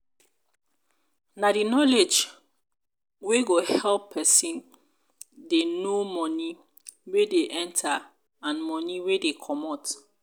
na di knowledge wey go help person dey know money wey dey enter and money wey dey comot